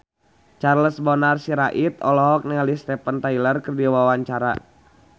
Charles Bonar Sirait olohok ningali Steven Tyler keur diwawancara